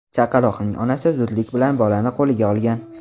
Chaqaloqning onasi zudlik bilan bolani qo‘liga olgan.